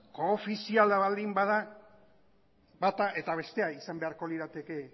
koofiziala baldin bada bata eta bestea izan beharko lirateke